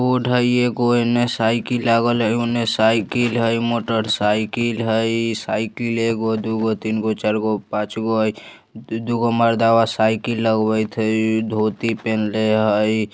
रोड हय एगो इने साइकिल लागल हय उने साइकिल हय मोटर साइकिल हय साइकिल एगो दु गो तीन गो चार गो पांच गो हय दु गो मर्दावा साइकिल लगवेएत हय धोती पिन्हले हय।